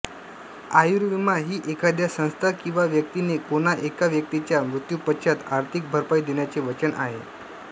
आयुर्विमा ही एखाद्या संस्था किंवा व्यक्तीने कोणा एका व्यक्तीच्या मृत्युपश्चात आर्थिक भरपाई देण्याचे वचन आहे